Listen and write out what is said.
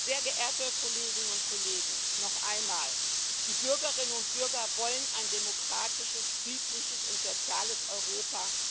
Sehr geehrte Kolleginnen und Kollegen, noch einmal Die Bürgerinnen und Bürger wollen ein demokratisches, friedliches und soziales Europa.